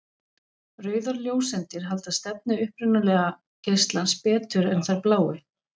Rauðar ljóseindir halda stefnu upprunalega geislans betur en þær bláu.